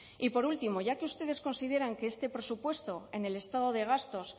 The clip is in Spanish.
y por último ya que ustedes consideran que este presupuesto en el estado de gastos